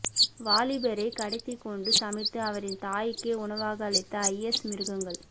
வாலிபரை கடத்திக் கொன்று சமைத்து அவரின் தாய்க்கே உணவாக அளித்த ஐஎஸ் மிருகங்கள்